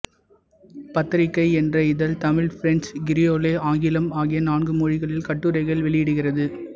பத்திரிகை என்ற இதழ் தமிழ் பிரெஞ்சு கிரியோலே ஆங்கிலம் ஆகிய நான்கு மொழிகளில் கட்டுரைகளை வெளியிடுகிறது